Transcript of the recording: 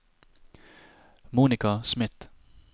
Monica Smith